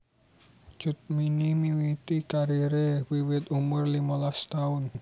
Cut Mini miwiti karire wiwit umur limolas taun